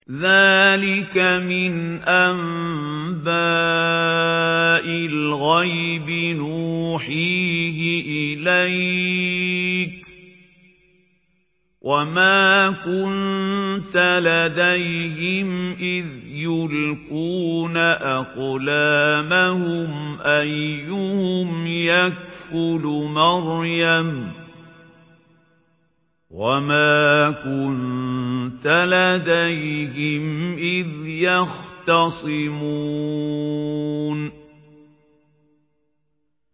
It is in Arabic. ذَٰلِكَ مِنْ أَنبَاءِ الْغَيْبِ نُوحِيهِ إِلَيْكَ ۚ وَمَا كُنتَ لَدَيْهِمْ إِذْ يُلْقُونَ أَقْلَامَهُمْ أَيُّهُمْ يَكْفُلُ مَرْيَمَ وَمَا كُنتَ لَدَيْهِمْ إِذْ يَخْتَصِمُونَ